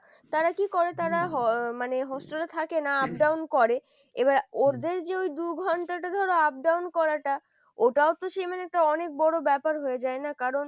কি করে তারা মানে hostel এ থাকে না up down করে এবার ওদের যে ওই দু ঘন্টাটা ধরো up down করাটা ওটাও তো সে মানে একটা অনেক বড় ব্যাপার হয়ে যায় না কারণ